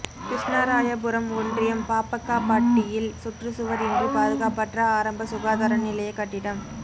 கிருஷ்ணராயபுரம் ஒன்றியம் பாப்பக்காபட்டியில் சுற்று சுவர் இன்றி பாதுகாப்பற்ற ஆரம்ப சுகாதார நிலைய கட்டிடம்